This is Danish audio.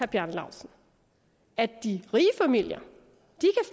bjarne laustsen at de rige familier